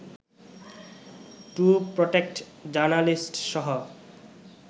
two protect জার্নালিস্টসহ